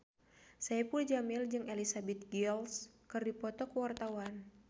Saipul Jamil jeung Elizabeth Gillies keur dipoto ku wartawan